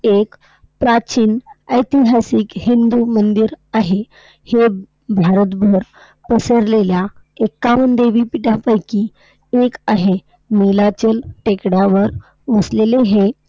एक प्राचीन, ऐतिहासिक हिंदू मंदिर आहे. हे भारतभर पसरलेल्या एक्कावन्न देवीपीठांपैकी एक आहे. नीलांचाल टेकड्यांवर वसलेले हे